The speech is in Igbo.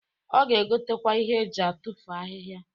Ọ ga-egotakwa ihe eji atufu ahịhịa.